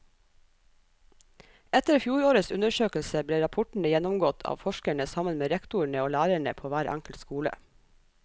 Etter fjorårets undersøkelse ble rapportene gjennomgått av forskerne sammen med rektorene og lærerne på hver enkelt skole.